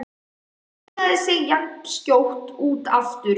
Lagði sig jafnskjótt út af aftur.